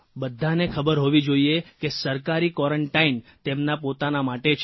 બધાને ખબર હોવી જોઇએ કે સરકારી ક્વોરન્ટાઇન તેમના પોતાના માટે છે